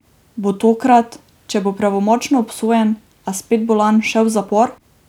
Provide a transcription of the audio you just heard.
Bo tokrat, če bo pravnomočno obsojen, a spet bolan, šel v zapor?